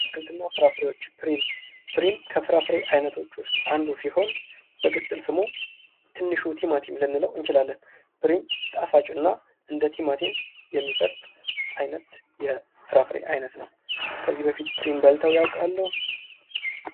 አትክልት እና ፍራፍሬዎች፦ ፕሪም ፦ ፕሪም ከአትክልትና ፍራፍሬዎች ውስጥ አንዱ ሲሆን በቅጥል ስሙ ትንሹ ቲማቲም ልንለው እንችላለን። ፕሪም ጣፋጭ እና እንደቲማቲም የሚፈርጥ አይነት የፍራፍሬ አይነት ነው። ከዚህ በፊት ፕሪም በልተው ያቃሉ?